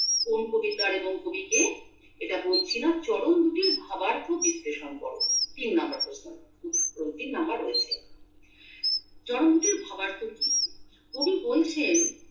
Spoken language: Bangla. কোন কবিতার এবং কবি কে এটা বলছিনা চরণ দুটির ভাবার্থ বিশ্লেষণ করো তিন নাম্বার প্রশ্ন তিন নাম্বার রয়েছে চরণ দুটির ভাবার্থ কি কবি বলছেন